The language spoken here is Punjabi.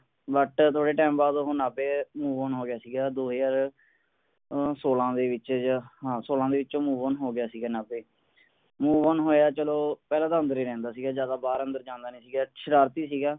ਪਰਉਹ ਥੋੜੇਸਮਾਂਬਾਅਦ ਉਹ ਨਾਭੇ ਅੱਗੇ ਵਧੋਹੋ ਗਿਆ ਸੀਗਾ ਦੋ ਹਜ਼ਾਰ ਸੋਲਾਂ ਦੇ ਵਿੱਚ ਜਿਹੇ ਹਾਂ ਸੋਲਾਂ ਦੇ ਵਿੱਚ ਅੱਗੇ ਵਧੋ ਹੋ ਗਿਆ ਸੀਗਾ ਨਾਭੇ ਅੱਗੇ ਵਧੋਹੋਇਆ ਚਲੋ ਪਹਿਲਾਂ ਤਾਂ ਅੰਦਰ ਹੀ ਰਹਿੰਦਾ ਸੀਗਾ ਜਿਆਦਾ ਬਾਹਰ ਅੰਦਰ ਜਾਂਦਾ ਨਹੀਂ ਸੀਗਏ ਸ਼ਰਾਰਤੀ ਸੀਗਾ